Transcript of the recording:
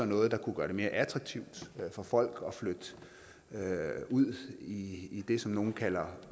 noget der kunne gøre det mere attraktivt for folk at flytte ud i i det som nogle kalder